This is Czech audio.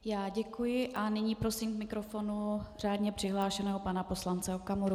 Já děkuji a nyní prosím k mikrofonu řádně přihlášeného pana poslance Okamuru.